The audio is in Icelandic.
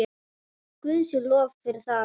Guði sé lof fyrir það.